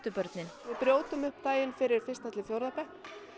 börnin við brjótum upp daginn fyrir fyrsta til fjórða bekk